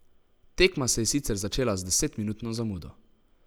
Tekma se je sicer začela z desetminutno zamudo.